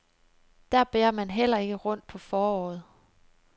Der bærer man heller ikke rundt på foråret.